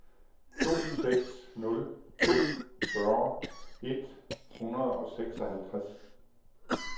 to seks nul to fyrre et hundrede og seksoghalvtreds